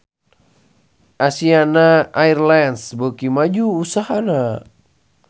Asiana Airlines beuki maju usahana